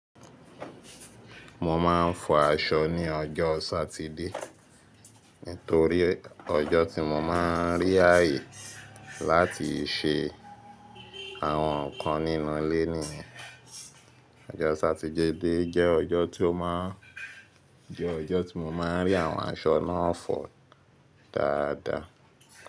Mo ma n fọ aṣọ ni ọjọ́ Sátidé nítorí ọjọ́ tí mo ma n rí ààyè láti ṣe àwọn nkan nínú ilé niyen Ọjọ́ Sátidé jẹ́ ọjọ́ tí ó ma n, jẹ ọjọ́ tí mo ma n rí àwọn aṣọ náà fọ dáadáa.